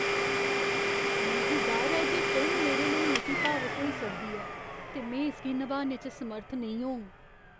मिगी डर ऐ जे फिल्म मेरे लेई मती भावुक होई सकदी ऐ ते में इसगी नभाने च समर्थ नेईं होङ।